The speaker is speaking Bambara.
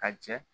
Ka jɛ